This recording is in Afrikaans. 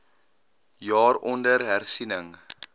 jaar onder hersiening